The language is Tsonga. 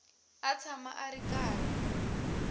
a tshama a ri karhi